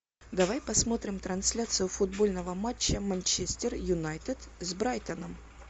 давай посмотрим трансляцию футбольного матча манчестер юнайтед с брайтоном